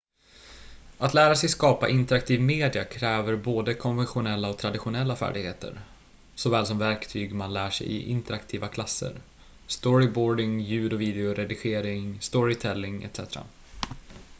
att lära sig skapa interaktiv media kräver både konventionella och traditionella färdigheter såväl som verktyg man lär sig i interaktiva klasser storyboarding ljud- och videoredigering storytelling etc.